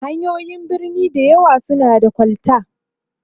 hanyoyin birni da yawan su na da kol ta